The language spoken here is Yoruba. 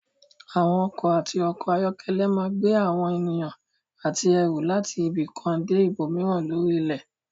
Àwọn ọkọ̀ àti ọkọ̀-ayọ́kẹ́lẹ́ máa gbé àwọn ènìyàn àti ẹrù láti ibi kan dé ibòmíràn lórí ilẹ̀.